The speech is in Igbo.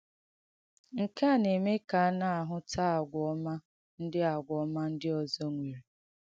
Nke à na-èmē ka a na-àhụ́tà àgwà ọ́mà ndị àgwà ọ́mà ndị ọ̀zọ̀ nwērē.